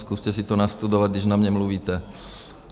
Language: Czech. Zkuste si to nastudovat, když na mě mluvíte!